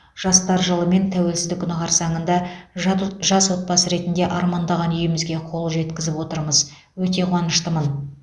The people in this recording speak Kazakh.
жастар жылы мен тәуелсіздік күні қарсаңында жат от жас отбасы ретінде армандаған үйімізге қол жеткізіп отырмыз өте қуаныштымын